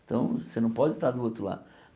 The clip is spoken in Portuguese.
Então, você não pode estar do outro lado.